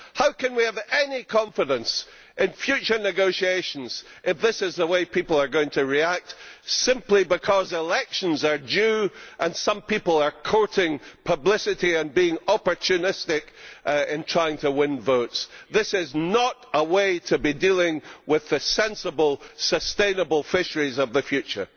How can we have any confidence in future negotiations if this is the way people are going to react, simply because elections are due, and some people are courting publicity and being opportunistic in trying to win votes? This is not a way to be dealing with the sensible sustainable fisheries of the future.